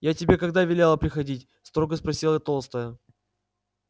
я тебе когда велела приходить строго спросила толстая